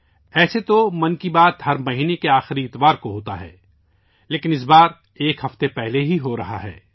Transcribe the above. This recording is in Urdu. عام طور پر 'من کی بات' ہر مہینے کے آخری اتوار کو ہوتی ہے، لیکن اس بار یہ ایک ہفتہ پہلے ہو رہی ہے